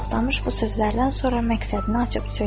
Toxtamış bu sözlərdən sonra məqsədini açıq söylədi.